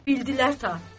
Bildilər.